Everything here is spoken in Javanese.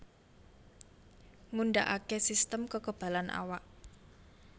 Ngundhakake sistem kekebalan awak